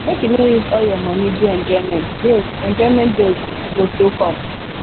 make you no use all your money do enjoyment bills enjoyment bills go still come